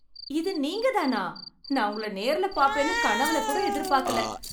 இது நீங்கதானா! நான் உங்களை நேரில் பார்ப்பேன் என்று கனவுல கூட எதிர்பார்க்கல.